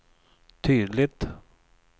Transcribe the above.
tydligt